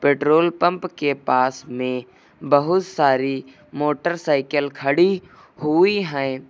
Petrol pump के पास में बहुत सारी मोटरसाइकल खड़ी हुई हैं।